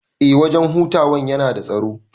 Eh wajan hutawan yana da tsaro